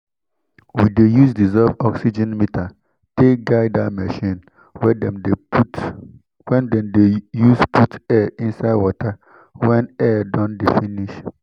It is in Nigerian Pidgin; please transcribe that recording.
we dey use dissolved oxygen meter take guide that machine wen dem put wen dem dey use put air inside water wen air don de finish